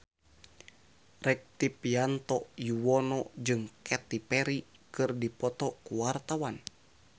Rektivianto Yoewono jeung Katy Perry keur dipoto ku wartawan